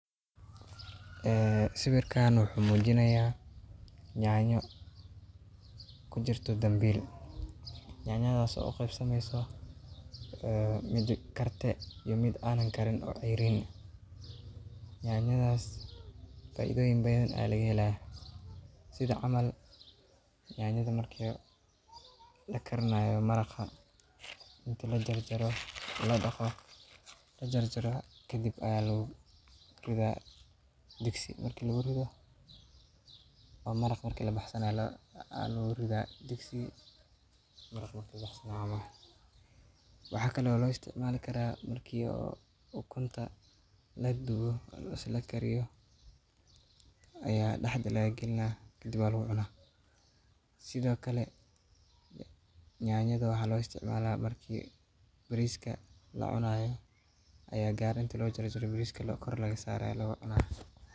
Sawirkan wuxuu muujinayaa yaanyo ku jirto dambiil. Yaanyadaas oo u qaybsamaysa mid kartaay iyo mid aan kariin oo ceyriin ah. Yaanyoyinkaas faa’iidooyin badan ayaa laga helayaa, sida Yaanyada marka la karinayo oo maraqa, inta la dhaqayo la jar jaro ka dibna ayaa lagu ridayaa digsiga. Marka lagu riddo maraqa, marka la baxsanayo ayaa lagu ridaa. Waxaa kale oo la isticmaali karaa marka cuntada la kariyo ama la dubo, ayaa dhexda laga gelinayaa, ka dibna lagu cunaa. Sidoo kale, yaanyada waxaa loo isticmaalaa marka bariiska la cunayo gaar inta la jar jaro, bariiska korkiisa ayaa laga saaraa, oo lagu cunaya.